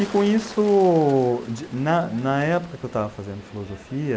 E com isso, na, na época que eu estava fazendo filosofia,